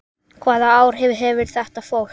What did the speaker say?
Hvaða áhrif hefur þetta fólk?